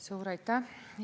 Suur aitäh!